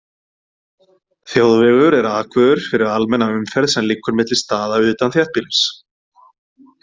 Þjóðvegur er akvegur fyrir almenna umferð sem liggur milli staða utan þéttbýlis.